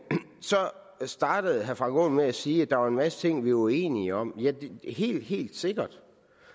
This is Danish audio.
startede herre frank aaen med at sige at der var en masse ting vi var uenige om ja det er helt helt sikkert